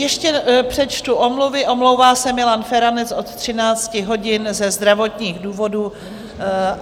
Ještě přečtu omluvy: omlouvá se Milan Feranec od 13 hodin ze zdravotních důvodů.